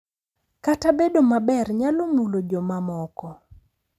Kata bedo maber nyalo mulo jomamoko.